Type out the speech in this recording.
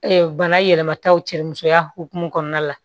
bana yɛlɛmataw cɛ musoya hokumu kɔnɔna la